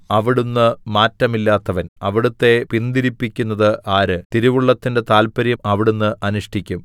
അവിടുന്ന് മാറ്റമില്ലാത്തവൻ അവിടുത്തെ പിന്തിരിപ്പിക്കുന്നത് ആര് തിരുവുള്ളത്തിന്റെ താത്പര്യം അവിടുന്ന് അനുഷ്ഠിക്കും